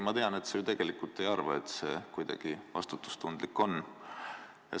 Ma tean, et sa ju tegelikult ei arva, et see kuidagi vastutustundlik on.